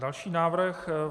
Další návrh.